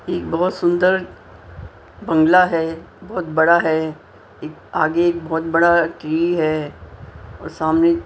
एक बहुत सुंदर बंगला है बहुत बड़ा है एक आगे एक बहुत बड़ा ट्री है और सामने --